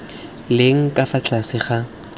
leng ka fa tlase ga